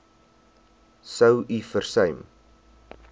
sou u versuim